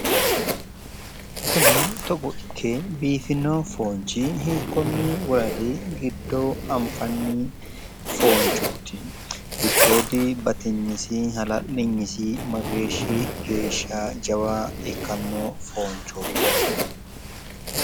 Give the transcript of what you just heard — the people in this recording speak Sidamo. Kuni togo ikke biifino foonchi hiikonni woradi giddo anfanni foonchooti? Giddoodi batiynisi hala'liynisi mageeshi geeshsha jawa ikkanno foonchooti?